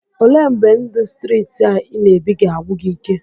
Olee mgbe ndụ streeti a ị na-ebi ga-agwụ gị ike?